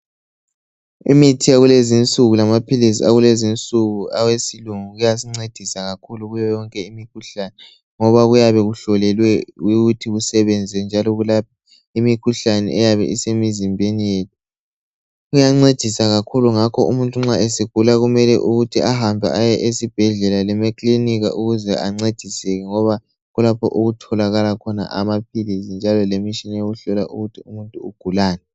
Imithi yakulezi nsuku lamaphili akulezinsuku kuyasincedisa ukuthi kakhulu kuyo yonke imikhuhlane ngoba kuyabe kuhlolelwe ukuthi kusebenze njalo kulapha imikhuhlane eyabe isemzimbeni yethu kuyancedisa kakhulu ngakho umuntu nxa esegula kumele ahambe esibhedlela kumbe eklinika ukuze ancediswe ngoba yikho lapha okulamaphilizi lemitshina eyokuhlola ukuthi umuntu ugulani